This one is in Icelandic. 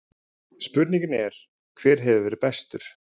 Spurningin er: Hver hefur verið bestur?